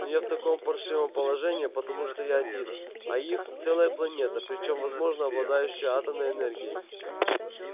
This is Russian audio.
но я в таком паршивом положении потому что я один а их целая планета причём возможно обладающая атомной энергией